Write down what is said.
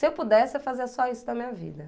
Se eu pudesse, eu fazia só isso da minha vida.